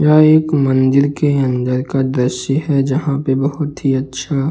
यह एक मंदिर के अंदर का दृश्य है जहां पे बहुत ही अच्छा --